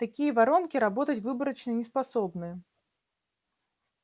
такие воронки работать выборочно не способны